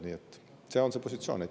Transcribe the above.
Nii et see on see positsioon.